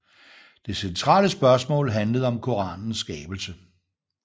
Det centrale spørgsmål handlede om koranenes skabelse